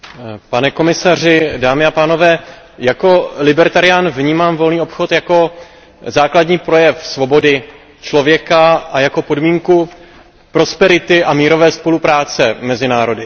Pane komisaři, jako libertarián vnímám volný obchod jako základní projev svobody člověka a jako podmínku prosperity a mírové spolupráce mezi národy.